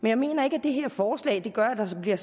jeg mener ikke at det her forslag gør at der bliver